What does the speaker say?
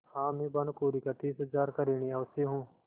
हाँ मैं भानुकुँवरि का तीस हजार का ऋणी अवश्य हूँ